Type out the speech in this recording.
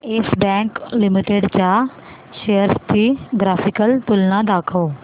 yes Bank Limited च्या shares ची graphical तुलना दाखव